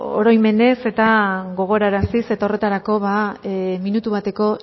oroimenez eta gogoraraziz eta horretarako minutu bateko